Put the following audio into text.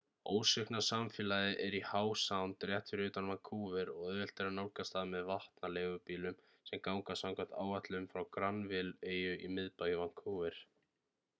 ósvikna samfélagið er í howe sound rétt fyrir utan vancouver og auðvelt er að nálgast það með vatna-leigubílum sem ganga samkvæmt áætlun frá granville-eyju í miðbæ vancouver